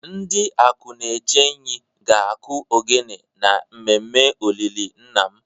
Ndi Akunechenyi ga akụ ogene na mmemme olili nna m